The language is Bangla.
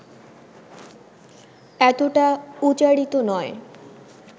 এতটা উচারিত নয়